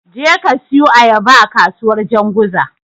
Jeka ka siyu Ayaba a kasuwar Janzuga.